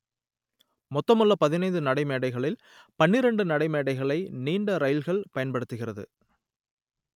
மொத்தமுள்ள பதினைந்து நடைமேடைகளில் பன்னிரண்டு நடைமேடைகளை நீண்ட இரயில்கள் பயன்படுத்துகிறது